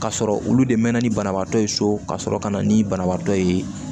Ka sɔrɔ olu de mɛna ni banabaatɔ ye so ka sɔrɔ ka na ni banabaatɔ ye